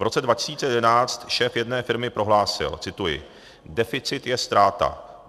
V roce 2011 šéf jedné firmy prohlásil - cituji: "Deficit je ztráta.